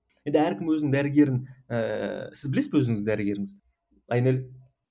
әркім өзінің дәрігерін ііі сіз білесіз бе өзіңіздің дәрігеріңізді айнель